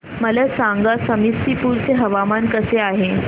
मला सांगा समस्तीपुर चे हवामान कसे आहे